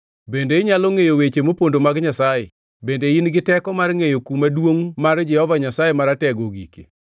“Bende inyalo ngʼeyo weche mopondo mag Nyasaye? Bende in gi teko mar ngʼeyo kuma duongʼ mar Jehova Nyasaye Maratego ogikie?